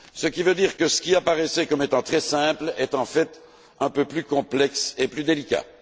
Ce qui veut dire que ce qui apparaissait comme étant très simple, est en fait un peu plus complexe et plus délicat.